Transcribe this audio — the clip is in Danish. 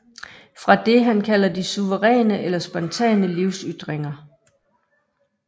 Fra det han kalder de suveræne eller spontane livsytringer